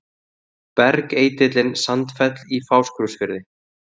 Bergeitillinn Sandfell í Fáskrúðsfirði.